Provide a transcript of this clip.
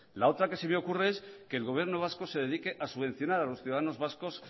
la otra que se me ocurre es que el gobierno vasco se dedique a subvencionar a los ciudadanos vascos